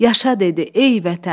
Yaşa dedi: ey Vətən!